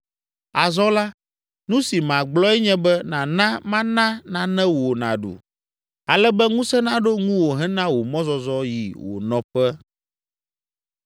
Azɔ la, nu si magblɔe nye be nàna mana nane wò nàɖu, ale be ŋusẽ naɖo ŋuwò hena wò mɔzɔzɔ yi wò nɔƒe.”